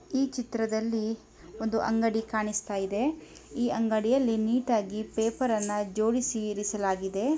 ಈ ಚಿತ್ರದಲ್ಲಿ ಒಂದು ಅಂಗಡಿ ಕಾಣಿಸುತ್ತ ಇದೆ ಈ ಅಂಗಡಿಯಲ್ಲಿ ನೀಟಾಗಿ ಪೇಪರನ್ನ ಜೋಡಿಸಿ ಇರಿಸಲಾಗಿದೆ.